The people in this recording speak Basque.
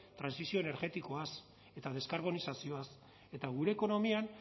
trantsizio energetikoaz eta deskarbonizazioaz eta gure ekonomian